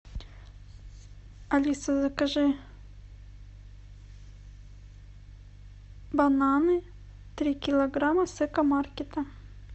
алиса закажи бананы три килограмма с экомаркета